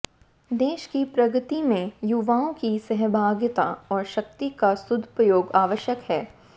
देश की प्रगति में युवाओं की सहभागिता और शक्ति का सदुपयोग आवश्यक है